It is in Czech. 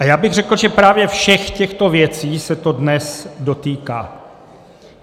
A já bych řekl, že právě všech těchto věcí se to dnes dotýká.